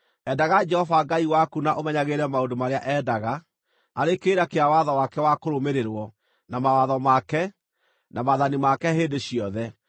Endaga Jehova Ngai waku na ũmenyagĩrĩre maũndũ marĩa endaga, arĩ kĩrĩra kĩa watho wake wa kũrũmĩrĩrwo, na mawatho make, na maathani make hĩndĩ ciothe.